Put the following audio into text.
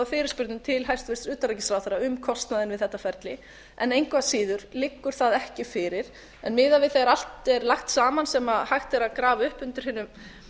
fyrirspurnum til hæstvirts utanríkisráðherra um kostnaðinn við þetta ferli en engu að síður liggur það ekki fyrir miðað við þegar allt er lagt saman sem hægt er að grafa upp undir hinum